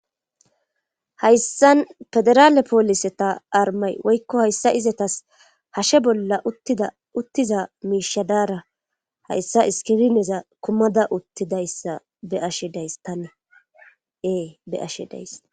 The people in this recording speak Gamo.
Hayssan federaale poolise ta armay woykko hayssa izetas hashe bolla uttiza miishadaara hayssa iskirineza kumada uttidayssa be ashe days tan e be ashe days.